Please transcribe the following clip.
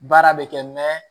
Baara bɛ kɛ